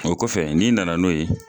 O kɔfɛ ni nana n'o ye.